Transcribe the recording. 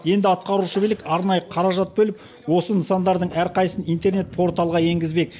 енді атқарушы билік арнайы қаражат бөліп осы нысандардың әрқайсысын интернет порталға енгізбек